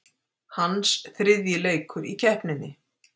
Hans þriðji leikur í keppninni